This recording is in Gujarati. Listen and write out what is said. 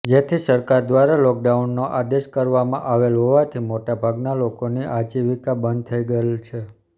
જેથી સરકાર દ્વારા લોકડાઉનનો આદેશ કરવામાં આવેલ હોવાથી મોટાભાગના લોકોની આજીવિકા બંધ થઈ ગયેલ છે